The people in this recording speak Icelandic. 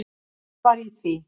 Hver var í því?